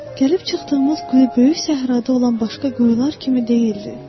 Gəlib çıxdığımız quyu böyük səhrada olan başqa quyular kimi deyildi.